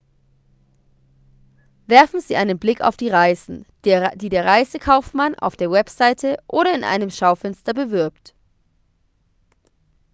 werfen sie einen blick auf die reisen die der reisekaufmann auf der webseite oder in einem schaufenster bewirbt